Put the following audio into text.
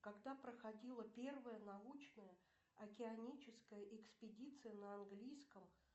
когда проходила первая научная океаническая экспедиция на английском